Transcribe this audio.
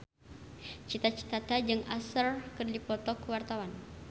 Cita Citata jeung Usher keur dipoto ku wartawan